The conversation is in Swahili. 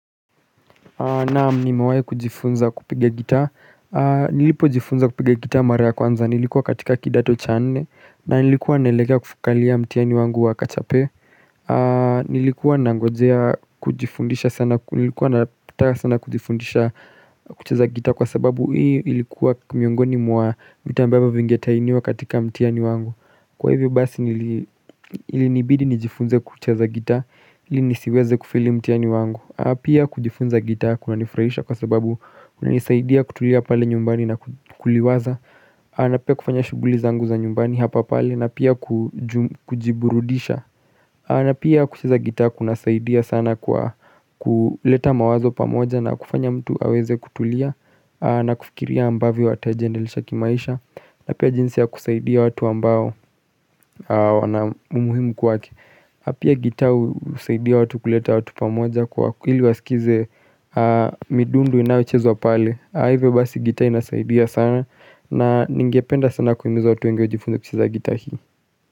Nam nimewahi kujifunza kupiga gitaa. Nilipojifunza kupiga gita mara ya kwanza nilikuwa katika kidato cha nne na nilikuwa naelekea kukalia mtihani wangu wa kachape Nilikuwa nangojea kujifundisha sana Nilikuwa nataka sana kujifundisha kucheza gita Kwa sababu hii ilikuwa miongoni mwa mita ambavyo vingetainiwa katika mtihani wangu. Kwa hivyo basi ilinibidi nijifunze kucheza gita ili nisiweze kufeli mtihani wangu. Pia kujifunza gita kunanifurahisha kwa sababu kunanisaidia kutulia pale nyumbani na kuliwaza na pia kufanya shughuli zangu za nyumbani hapa pale na pia kujiburudisha na pia kucheza gitaa kunasaidia sana kwa kuleta mawazo pamoja na kufanya mtu aweze kutulia na kufikiria ambavyo watajiendelesha kimaisha na pia jinsi ya kusaidia watu ambao wana umuhimu kwake. Na pia gita husaidia watu kuleta watu pamoja kwa hili wasikize midundo inayochezwa pale. Hivyo basi gita inasaidia sana na ningependa sana kuhimiza watu wengi wajifunze kucheza gita hii.